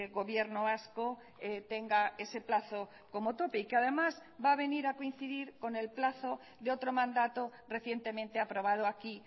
gobierno vasco tenga ese plazo como tope y que además va a venir a coincidir con el plazo de otro mandato recientemente aprobado aquí